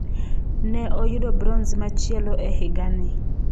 Ne oyudo bronze machielo e higa ni.